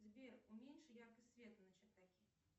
сбер уменьши яркость света на чердаке